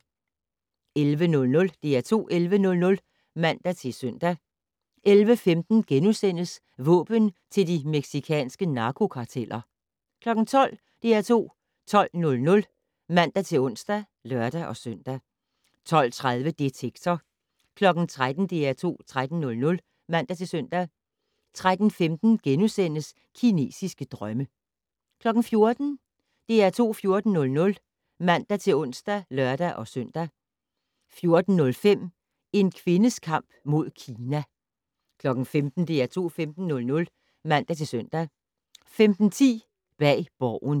11:00: DR2 11:00 (man-søn) 11:15: Våben til de mexicanske narkokarteller * 12:00: DR2 12:00 (man-ons og lør-søn) 12:30: Detektor 13:00: DR2 13:00 (man-søn) 13:15: Kinesiske drømme * 14:00: DR2 14:00 (man-ons og lør-søn) 14:05: En kvindes kamp mod Kina 15:00: DR2 15:00 (man-søn) 15:10: Bag Borgen